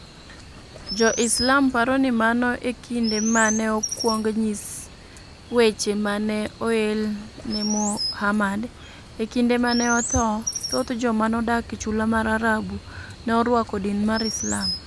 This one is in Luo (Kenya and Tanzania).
Jo-Islam paro ni mano e kinde ma ne okwong nyis weche ma ne oel ne Muhammad. E kinde ma ne otho, thoth joma nodak e chula mar Arabu ne orwako din mar Islam.